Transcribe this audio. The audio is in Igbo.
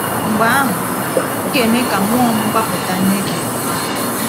Mgbe ahụ, m ga-eme ka mmụọ m gbapụta nye gị.